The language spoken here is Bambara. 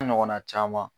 Ɲɔgɔnna caman